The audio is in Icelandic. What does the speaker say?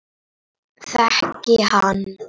Elsku Friðjón frændi.